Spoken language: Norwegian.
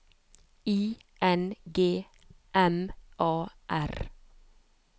I N G M A R